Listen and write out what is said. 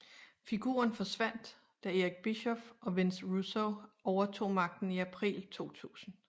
Figuren forsvandt da Eric Bischoff og Vince Russo overtog magten i april 2000